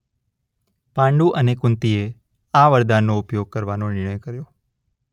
પાંડુ અને કુંતીએ આ વરદાનનો ઉપયોગ કરવાનો નિર્ણય કર્યો.